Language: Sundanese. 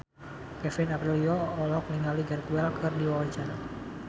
Kevin Aprilio olohok ningali Gareth Bale keur diwawancara